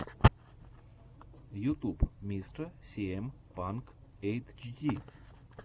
ютуб мистэ сиэм панк эйтчди